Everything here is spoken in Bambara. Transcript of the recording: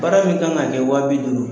Baara min kan ŋa kɛ wa bi duuru